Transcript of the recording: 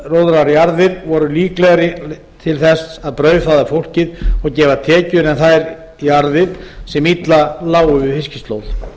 og útróðrajarðir voru líklegri til þess að brauðfæða fólkið og gefa tekjur en þær jarðir sem illa lágu við fiskislóð